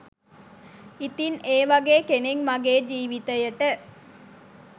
ඉතින් ඒ වගේ කෙනෙක් මගේ ජීවිතයට